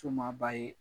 Sumanba ye